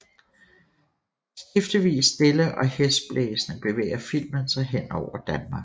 Skiftevis stille og hæsblæsende bevæger filmen sig hen over Danmark